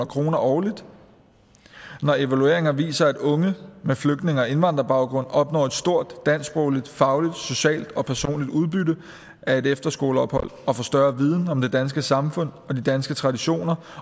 kroner årligt når evalueringer viser at unge med flygtninge og indvandrerbaggrund opnår et stort dansksprogligt fagligt socialt og personligt udbytte af et efterskoleophold og får større viden om det danske samfund og de danske traditioner